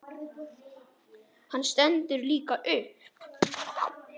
Hann stendur líka upp.